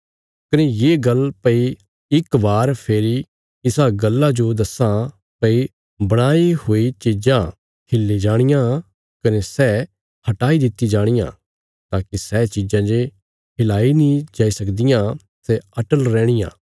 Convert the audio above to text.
कने ये गल्ल भई इक बार फेरी इसा गल्ला जो दस्सां भई बणाई हुई चीजां हिल्ली जाणियां कने सै हटाई दित्ति जाणियां ताकि सै चीजां जे हिलाई नीं जाई सकदियां सै अटल रैहणियां